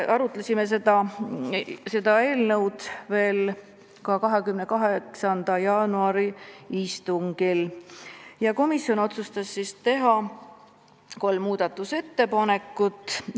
Arutasime seda eelnõu veel ka 28. jaanuari istungil, kus me otsustasime teha kolm muudatusettepanekut.